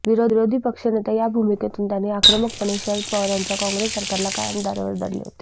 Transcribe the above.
विरोधी पक्षनेता या भूमिकेतून त्यांनी आक्रमकपणे शरद पवार यांच्या कॉंग्रेस सरकारला कायम धारेवर धरले होते